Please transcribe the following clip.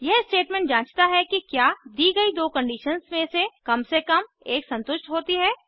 यह स्टेटमेंट जाँचता है कि क्या दी गई दो कंडीशन्स में से कम से कम एक संतुष्ट होती है